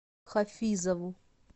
хафизову